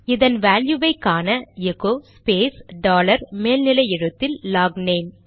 இதன் வேல்யுவை காண எகோ ஸ்பேஸ் டாலர் மேல் நிலை எழுத்தில் லாக்நேம்